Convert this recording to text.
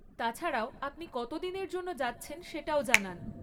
তাছাড়াও, আপনি কত দিনের জন্য যাচ্ছেন সেটাও জানান।